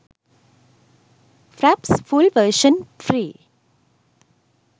fraps full version free